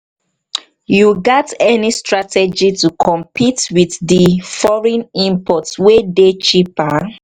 you get any strategy to compete with di foreign imports wey dey cheaper?